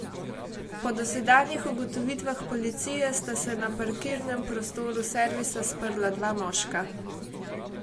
Po dosedanjih ugotovitvah policije sta se na parkirnem prostoru servisa sprla dva moška.